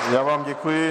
Já vám děkuji.